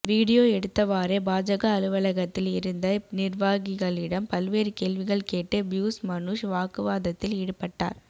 video எடுத்தவாறே பாஜக அலுவலகத்தில் இருந்த நிர்வாகிகளிடம் பல்வேறு கேள்விகள் கேட்டு பியூஸ் மனுஷ் வாக்குவாதத்தில் ஈடுபட்டார்